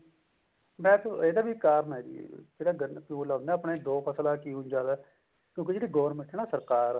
ਵੈਸੇ ਇਹਦਾ ਵੀ ਕਾਰਨ ਹੈ ਜੀ ਜਿਹੜਾ ਆ ਨਾ ਆਪਣੇ ਦੋ ਫਸਲਾਂ ਦਾ ਕਿਉਂ ਜਿਆਦਾ ਕਿਉਂਕਿ ਜਿਹੜੀ government ਆ ਨਾ ਸਰਕਾਰ